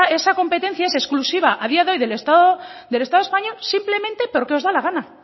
esa competencia es exclusiva a día de hoy del estado español simplemente porque os da la gana